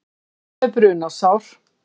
Einn með brunasár